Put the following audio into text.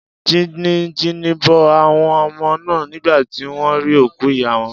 Jìnìjìnì bo àwon omo náà nígbà tí wón rí òkú ìyá won